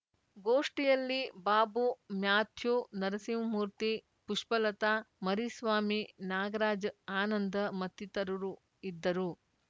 ಗೋಷ್ಠಿಯಲ್ಲಿ ಬಾಬು ಮ್ಯಾಥ್ಯೂ ನರಸಿಂಹಮೂರ್ತಿ ಪುಷ್ಪಲತಾ ಮರಿಸ್ವಾಮಿ ನಾಗರಾಜ್‌ ಆನಂದ ಮತ್ತಿತರರು ಇದ್ದರು